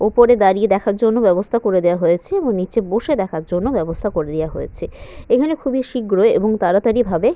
ওপরে দাঁড়িয়ে দেখার জন্য ব্যবস্থা করে দেওয়া হয়েছে এবং নিচে বসে দেখার জন্য ব্যবস্থা করে দেওয়া হয়েছে এখানে খুবই শীঘ্রই এবং তাড়াতাড়ি ভাবে--